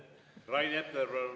Rain Epler, palun!